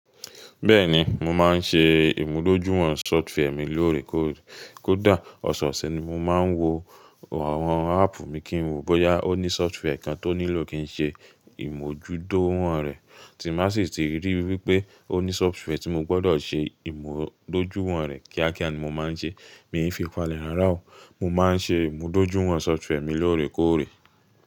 Bẹ́ẹ̀ni, mo máa ń ṣe ìmúdójúìwọ̀n software mi lóòrèkóòrè. Kódà ọ̀sọ̀ọ̀sẹ̀ ni mo máa ń wo àwọn áàpù mi kí n wò bóyá ó ní software kan tó nílò kí n ṣe ìmúdójúìwọ̀n rẹ̀, tí màá sì ti rí wípé ó ní software tí mo gbọ́dọ̀ ṣe ìmúdójúìwọ̀n rẹ̀ kíákíá ni mo máa ń ṣe. Mi ò fi falẹ̀ rara o. Mo máa ń ṣe ìmúdójúìwọ̀n software mi lóòrèkóòrè.